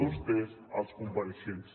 vostès els compareixents